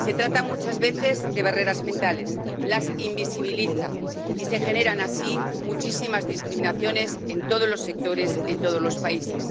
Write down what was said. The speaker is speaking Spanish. Se trata muchas veces de barreras mentales las invisibiliza, y se generan así muchísimas discriminaciones en todos los sectores en todos los países.